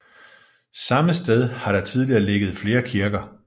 Samme sted har der tidligere ligget flere kirker